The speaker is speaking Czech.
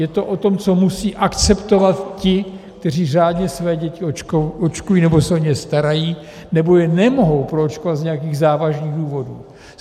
Je to o tom, co musí akceptovat ti, kteří řádně své děti očkují nebo se o ně starají, nebo je nemohou proočkovat z nějakých závažných důvodů.